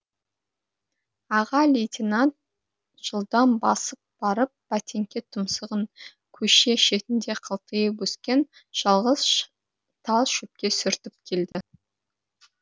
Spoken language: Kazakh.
аға лейтенант жылдам басып барып бәтеңке тұмсығын көше шетінде қылтиып өскен жалғыз тал шөпке сүртіп келді